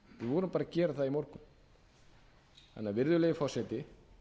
vorum bara að gera það í morgun virðulegi forseti